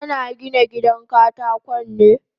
Kana Gina gidan katakon ne?